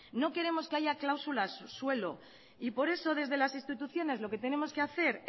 no queremos que haya cláusulas suelo y por eso desde las instituciones lo que tenemos que hacer